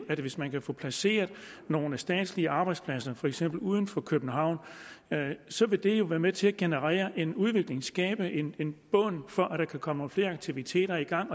at hvis man kan få placeret nogle statslige arbejdspladser for eksempel uden for københavn så vil det være med til at generere en udvikling skabe en en bund for at der kan komme nogle flere aktiviteter i gang